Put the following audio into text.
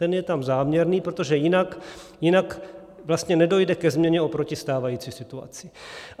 Ten je tam záměrný, protože jinak vlastně nedojde ke změně oproti stávající situaci.